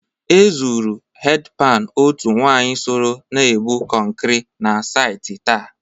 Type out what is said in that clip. E zụrụ hedpani otu nwaanyị soro na-ebụ kọnkrị na sati taa.